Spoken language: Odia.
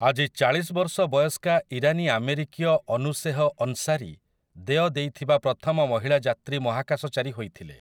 ଆଜି ଚାଳିଶ ବର୍ଷ ବୟସ୍କା ଇରାନୀଆମେରିକୀୟ ଅନୁଶେହ ଅନ୍ସାରୀ ଦେୟ ଦେଇଥିବା ପ୍ରଥମ ମହିଳା ଯାତ୍ରୀ ମହାକାଶଚାରୀ ହୋଇଥିଲେ ।